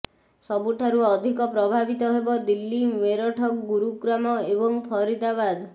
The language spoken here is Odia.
ସବୁଠାରୁ ଅଧିକ ପ୍ରଭାବିତ ହେବ ଦିଲ୍ଲୀ ମେରଠ ଗୁରୁଗ୍ରାମ ଏବଂ ଫରିଦାବାଦ୍